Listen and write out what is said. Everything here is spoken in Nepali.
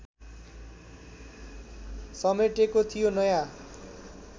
समेटेको थियो नयाँ